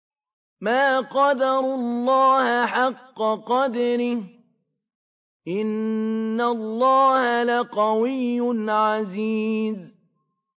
مَا قَدَرُوا اللَّهَ حَقَّ قَدْرِهِ ۗ إِنَّ اللَّهَ لَقَوِيٌّ عَزِيزٌ